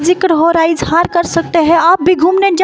जिक्र हो रहा है इज़हार कर सकते हैं आप भी घूमने जा--